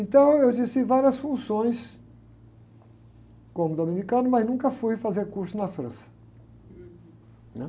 Então, eu exerci várias funções como dominicano, mas nunca fui fazer curso na França, né?